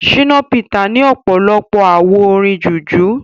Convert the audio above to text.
Shina peter ní ọ̀pọ̀lọpọ̀ àwo orin jùjú.